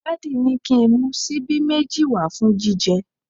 Daddy ni ki n mu sibi meji wa fun jije